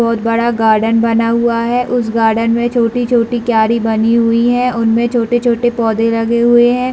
बोहत बड़ा गार्डेन बना हुआ है उस गार्डेन में बहुत छोटी-छोटी क्यारी बनी हुई है उनमे छोटे-छोटे पौधे लगे हुए है।